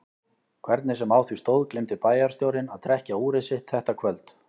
Hvernig sem á því stóð gleymdi bæjarstjórinn að trekkja úrið sitt þetta kvöld.